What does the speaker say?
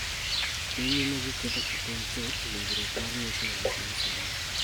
dhi nyime gi keto e tim chuth winjruok mar nyuklia gi piny Sudan.